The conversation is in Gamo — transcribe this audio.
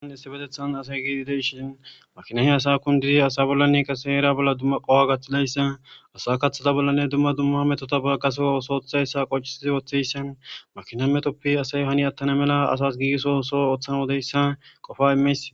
An issi betethan asay giidi deishiin makinahe asa kundizi asa bollanne qase era bolla dumma qoha gaththilayssa asa kaththata bollanne dumma dumma metota kase osoothayssa qoccisizi ooththeyssan makina metoppi asay hani attana mela asas giigiso so ooththana odeyssa qofa imeys.